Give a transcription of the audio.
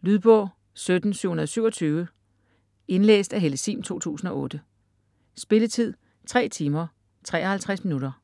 Lydbog 17727 Indlæst af Helle Sihm, 2008. Spilletid: 3 timer, 53 minutter.